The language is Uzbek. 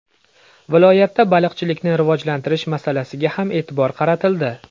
Viloyatda baliqchilikni rivojlantirish masalasiga ham e’tibor qaratildi.